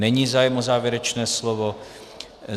Není zájem o závěrečné slovo.